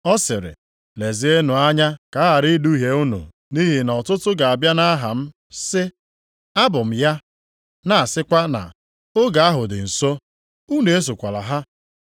Ọ sịrị, “Lezienụ anya ka a ghara iduhie unu nʼihi na ọtụtụ ga-abịa nʼaha m sị, ‘Abụ m ya,’ na-asịkwa na ‘Oge ahụ dị nso.’ Unu esokwala ha.